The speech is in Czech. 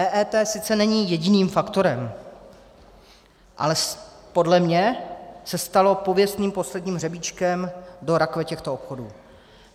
EET sice není jediným faktorem, ale podle mě se stalo pověstným posledním hřebíčkem do rakve těchto obchodů.